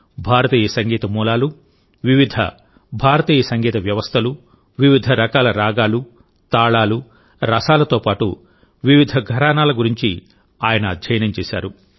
భారతీయ సంగీత మూలాలు వివిధ భారతీయ సంగీత వ్యవస్థలు వివిధ రకాల రాగాలు తాళాలు రసాలతో పాటు వివిధ ఘరానాల గురించి ఆయనఅధ్యయనం చేశారు